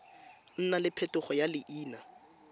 nna le phetogo ya leina